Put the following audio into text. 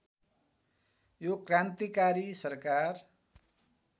यो क्रान्तिकारी सरकार